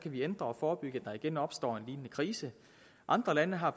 vi hindre og forebygge at der igen opstår en lignende krise andre lande har